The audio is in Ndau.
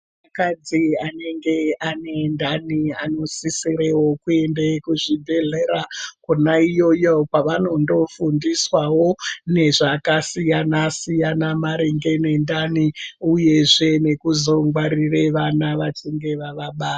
Mukadzi anenge ane ndani anosisirewo kuenda kuzvibhehlera konaiyoyo kwanondofundiswawo nezvakasiyana siyana maringe pendani uyezve kuzongwarire vana vachinge vavabara.